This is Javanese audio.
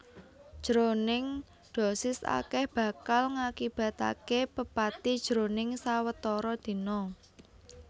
Jroning dosis akèh bakal ngakibataké pepati jroning sawetara dina